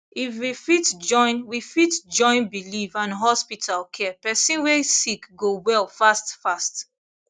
if we fit join we fit join believe and hospital care person way sick go well fast fast